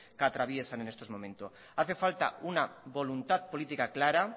que atraviesan en estos momentos hace falta una voluntad política clara